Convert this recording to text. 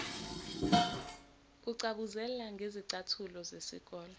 kucabuzela ngezicathulo zesikole